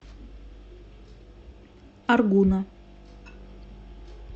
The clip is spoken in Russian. аргуна